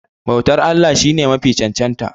bautar Allah shi ne Mafi cancanta